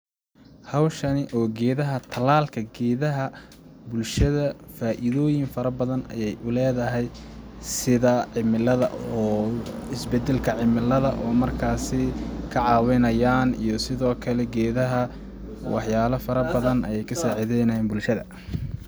Hawshani oo geedaha ,tallaalka geedaha bulshada faaidooyin fara badan ayeey u leedahay sida cimilada oo is badalka cimiliada oo markaasi ka caawinayaan iyo sidoo kale geedaha ,wax yaala fara badan ayeey ka saacideynayaan bulshada .